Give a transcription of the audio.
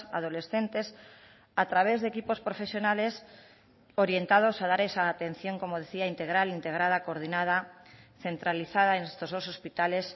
adolescentes a través de equipos profesionales orientados a dar esa atención como decía integral integrada coordinada centralizada en estos dos hospitales